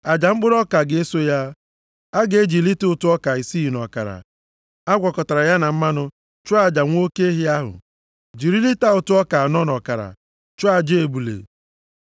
Aja mkpụrụ ọka ga-eso ya. A ga-eji lita ụtụ ọka isii na ọkara a gwakọtara ya na mmanụ chụọ aja nwa oke ehi ahụ. Jiri lita ụtụ ọka anọ na ọkara chụọ aja ebule,